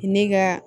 Ne ka